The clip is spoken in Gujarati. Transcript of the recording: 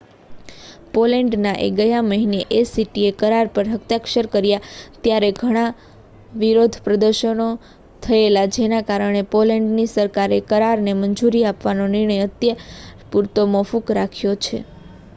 પોલેન્ડ એ ગયા મહિને એસીટીએ કરાર પર હસ્તાક્ષર કર્યા ત્યારે ત્યાં ઘણા વિરોધ પ્રદર્શનો થયેલા જેના કારણે પોલેન્ડની સરકારે એ કરારોને મંજૂરી આપવાનો નિર્ણય અત્યાર પૂરતો મોકૂફ રાખ્યો છે